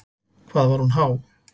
Hvað var hún há?